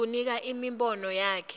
kunika imibono yakhe